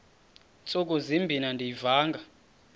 ntsuku zimbin andiyivanga